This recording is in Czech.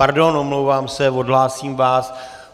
Pardon, omlouvám se, odhlásím vás.